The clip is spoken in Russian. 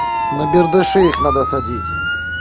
на бердаши их надо садить